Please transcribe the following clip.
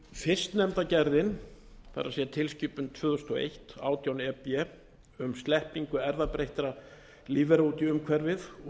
gerðin það er tilskipun tvö þúsund og eitt átján e b um sleppingu erfðabreyttra lífvera út í umhverfið og